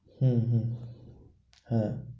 হম হম হ্যাঁ,